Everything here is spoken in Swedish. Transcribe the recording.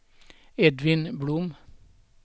Edvin Blom